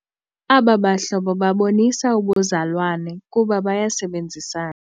Aba bahlobo babonisa ubuzalwane kuba bayasebenzisana.